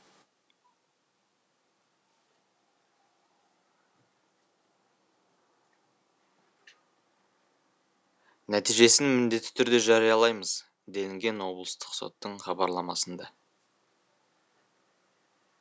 нәтижесін міндетті түрде жариялаймыз делінген облыстық соттың хабарламасында